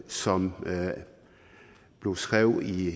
som blev skrevet i